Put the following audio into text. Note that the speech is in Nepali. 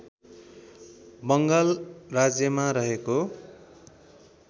बङ्गाल राज्यमा रहेको